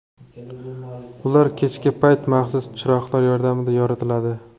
Ular kechki payti maxsus chiroqlar yordamida yoritiladi.